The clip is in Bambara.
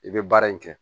I bɛ baara in kɛ